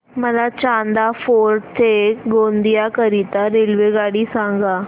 मला चांदा फोर्ट ते गोंदिया करीता रेल्वेगाडी सांगा